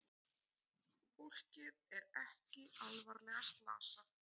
Fólkið er ekki alvarlega slasað